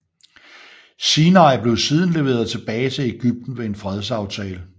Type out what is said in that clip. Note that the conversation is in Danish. Sinai blev siden leveret tilbage til Egypten ved en fredsaftale